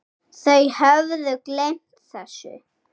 Þau höfðu gleymt þessu.